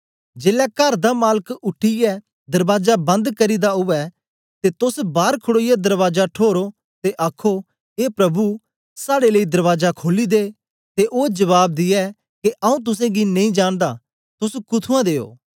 जेलै कर दा मालक उठीयै दरबाजा बंद करी दा उवै ते तोस बार खडोईयै दरबाजा ठोरो ते आखो ए प्रभु साड़े लेई दरबाजा खोली दे ते ओ जबाब दे के आऊँ तुसेंगी नेई जांनदा तोस कुथूऐं दे ओ